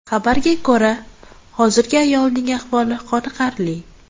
Xabarga ko‘ra, hozirda ayolning ahvoli qoniqarli.